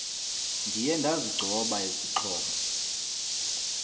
ndiye ndazigcoba izixhobo